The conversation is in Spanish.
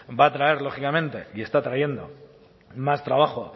va a traer lógicamente y está trayendo más trabajo